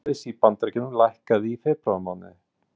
Atvinnuleysi í Bandaríkjunum lækkaði í febrúarmánuði